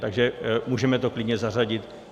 Takže můžeme to klidně zařadit.